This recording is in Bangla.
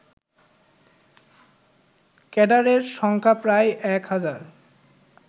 ক্যাডারের সংখ্যা প্রায় এক হাজার